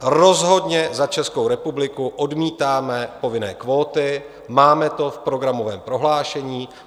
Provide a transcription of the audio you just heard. Rozhodně za Českou republiku odmítáme povinné kvóty, máme to v programovém prohlášení.